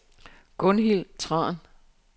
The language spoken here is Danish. Gunhild Tran